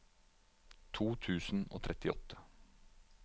to tusen og trettiåtte